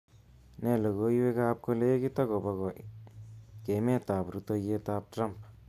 Nee logoiwekab kolekit akobo kemetab rutoyetab Trump